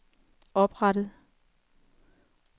oprettet